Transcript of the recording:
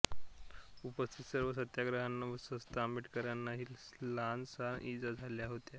उपस्थित सर्व सत्याग्रह्यांना व स्वत आंबेडकरांनाही लहानसहान इजा झाल्या होत्या